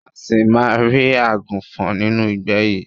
A ṣì máa rí àgùnfọ̀n nínú ìgbẹ́ yìí.